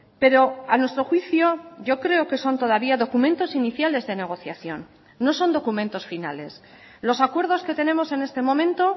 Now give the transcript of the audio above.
pero a nuestro juicio yo creo que son todavía documentos iniciales de negociación no son documentos finales los acuerdos que tenemos en este momento